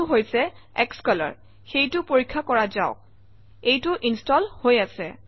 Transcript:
আনটো হৈছে স্কলৰ সেইটোও পৰীক্ষা কৰা যাওক এইটোও ইনষ্টল হৈ আছে